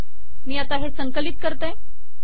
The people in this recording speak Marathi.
मी आता हे संकलित करते